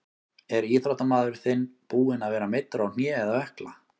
Er íþróttamaður þinn búinn að vera meiddur á hné eða ökkla?